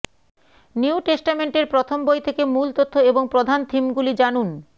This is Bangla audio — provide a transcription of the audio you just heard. নিউ টেস্টামেন্টের প্রথম বই থেকে মূল তথ্য এবং প্রধান থিমগুলি জানুন